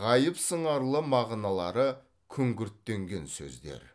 ғайып сыңарлы мағыналары күңгірттенген сөздер